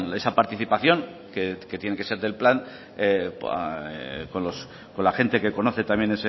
esa participación que tiene que ser del plan con la gente que conoce también